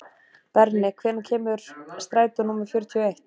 Berni, hvenær kemur strætó númer fjörutíu og eitt?